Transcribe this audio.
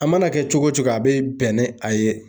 A mana kɛ cogo cogo a be bɛn ni a ye.